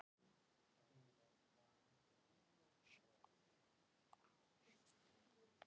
Stjarnan missir tvo leikmenn